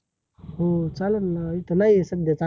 हो चालेल ना, इथ नाही आहे सध्या चांगल